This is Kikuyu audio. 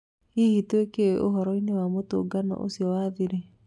Hihi tũĩ kĩ ũhoroinĩ wa mũtũngano ũcio wa thiri?